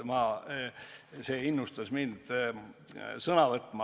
See innustas mind sõna võtma.